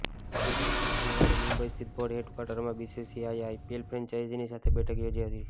બીજીતરફ શનિવારે મુંબઈ સ્થિત board head ક્વાર્ટરમાં બીસીસીઆઈએ આઈપીએલ ફ્રેન્ચાઇઝીની સાથે બેઠક યોજી હતી